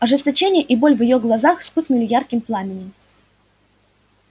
ожесточение и боль в её глазах вспыхнули ярким пламенем